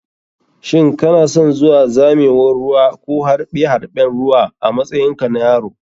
Shin kanason zuwa zamewan ruwa ko harɓe harɓen ruwa a matsayin ka na yaro?